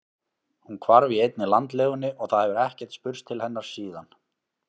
Hún hvarf í einni landlegunni og það hefur ekkert spurst til hennar síðan.